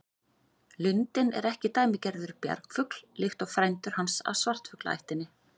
Lundinn er ekki dæmigerður bjargfugl líkt og frændur hans af svartfuglaættinni.